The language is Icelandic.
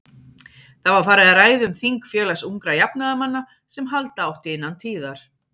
Það var farið að ræða um þing Félags ungra jafnaðarmanna, sem halda átti innan tíðar.